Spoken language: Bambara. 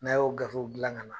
N'a y'o gafew gilan ka na